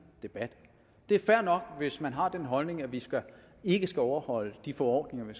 debat det er fair nok hvis man har den holdning at vi ikke skal overholde de forordninger vi